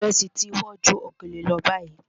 Ìrẹsì ti wọ́n ju òkèlè lọ báyìí.